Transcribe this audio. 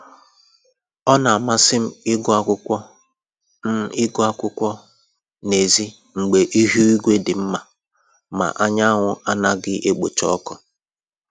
Ọ na-amasị m ịgụ akwụkwọ m ịgụ akwụkwọ n'èzí mgbe ihu igwe dị mma ma anyanwụ anaghị ekpocha ọkụ